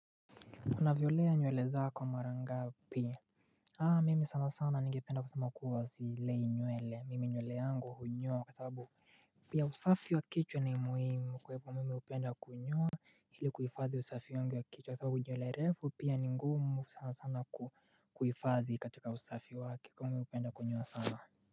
Unazilea nywele zako mara ngapi? Mimi sana sana nige penda kusama kuwa sizilei nywele. Mimi nywele yangu hunyoa kwa sababu Pia usafi wa kichwa ni muhimu kwa hivyo mimi hupenda kunyoa ili kuhifadhi usafi wangu wa kichwa kwa sababu nywele refu pia ni ngumu sanasana kuhifadhi katika usafi wake. Kwa hivyo mimi hupenda kunyoa sana.